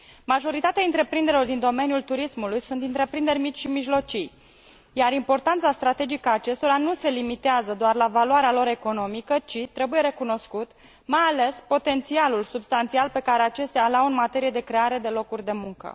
Majoritatea întreprinderilor din domeniul turismului sunt întreprinderi mici și mijlocii, iar importanța strategică a acestora nu se limitează doar la valoarea lor economică, ci trebuie recunoscut mai ales potențialul substanțial pe care acestea îl au în materie de creare de locuri de muncă.